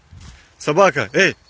собака эй